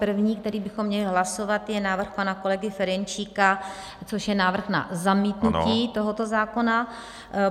První, který bychom měli hlasovat, je návrh pana kolegy Ferjenčíka, což je návrh na zamítnutí tohoto zákona.